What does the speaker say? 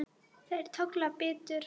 Þær tolla betur.